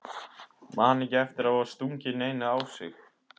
Man ekki eftir að hafa stungið neinu á sig.